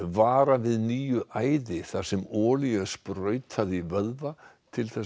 vara við nýju æði þar sem olíu er sprautað í vöðva til